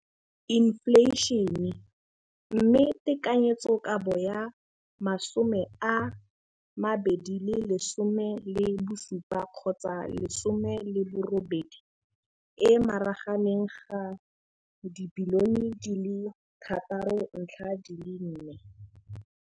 Infleišene, mme tekanyetsokabo ya 2017 18 e magareng ga 6.4 bilione.